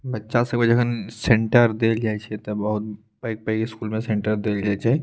बच्चा सब के जखन सेण्टर देल जाय छै ते बहुत पेग-पेग स्कूल में सेण्टर देल जाय छै।